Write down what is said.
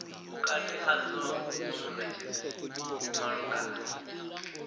vhukati hadzo na munetshedzi malugana